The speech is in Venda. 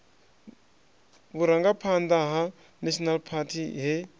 vhurangaphanḓa ha national party he